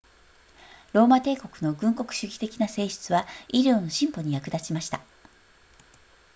ローマ帝国の軍国主義的な性質は医療の進歩に役立ちました